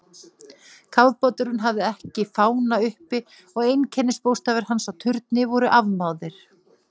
Kafbáturinn hafði ekki fána uppi og einkennisbókstafir hans á turni voru afmáðir.